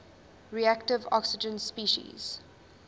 reactive oxygen species